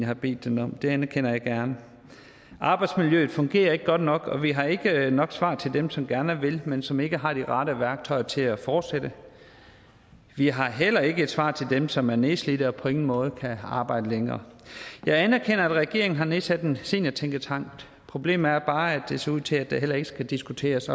har bedt dem om det anerkender jeg gerne arbejdsmiljøet fungerer ikke godt nok og vi har ikke nok svar til dem som gerne vil men som ikke har de rette værktøjer til at fortsætte vi har heller ikke et svar til dem som er nedslidte og på ingen måde kan arbejde længere jeg anerkender at regeringen har nedsat en seniortænketank problemet er bare at det ser ud til at der heller ikke skal diskuteres